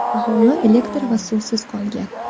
Aholi elektr va suvsiz qolgan.